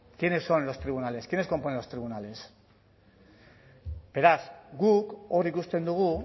quiénes son los tribunales quiénes componen los tribunales beraz guk hor ikusten dugu